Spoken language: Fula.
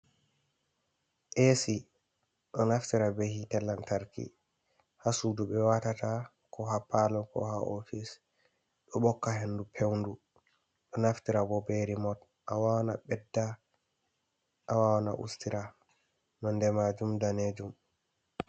Esi, ɗo naftira be hitelantarki, ha suudu ɓe watata ko ha palo, ko ha ofis, ɗo ɓokka hendu pewndu, ɗo naftira bo be rimot, awawan a bedda, awawan a usta , nonde majum danejuum.